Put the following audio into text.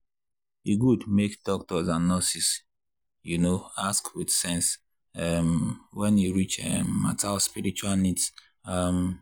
e good make doctors and nurses you know ask with sense um when e reach um matter of spiritual needs. um